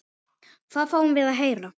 Hvað fáum við að heyra?